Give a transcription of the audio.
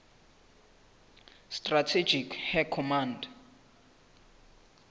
strategic air command